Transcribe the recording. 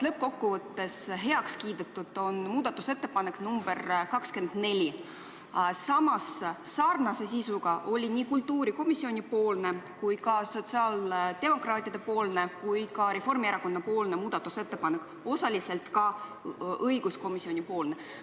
Lõppkokkuvõttes sai heaks kiidetud muudatusettepanek nr 24, aga sarnase sisuga oli nii kultuurikomisjoni, sotsiaaldemokraatide kui ka Reformierakonna muudatusettepanek, osaliselt ka õiguskomisjoni oma.